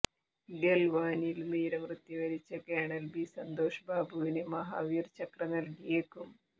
ഗൽവാനിൽ വീരമൃത്യു വരിച്ച colonel B Santosh ബാബുവിന് മഹാവീർ ചക്ര നൽകിയേക്കും